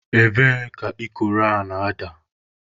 Ebee ka ikoro a na-ada?